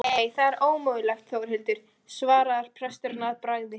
Nei það er ómögulegt Þórhildur, svarar presturinn að bragði.